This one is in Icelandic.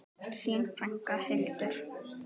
Þín frænka, Hildur.